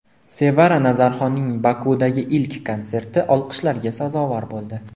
Sevara Nazarxonning Bokudagi ilk konserti olqishlarga sazovor bo‘ldi .